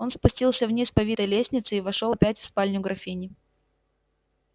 он спустился вниз по витой лестнице и вошёл опять в спальню графини